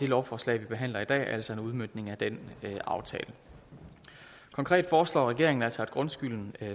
lovforslag vi behandler i dag er altså en udmøntning af den aftale konkret foreslår regeringen altså at grundskylden